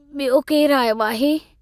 बियो केरु आयो आहे?